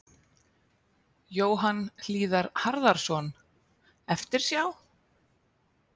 Jóhann Hlíðar Harðarson: Eftirsjá?